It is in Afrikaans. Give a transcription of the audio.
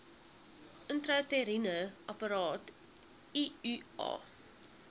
intrauteriene apparaat iua